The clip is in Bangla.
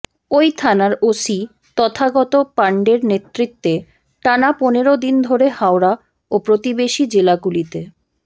ওই থানার ওসি তথাগত পাণ্ডের নেতৃত্বে টানা পনেরো দিন ধরে হাওড়া ও প্রতিবেশী জেলাগুলিতে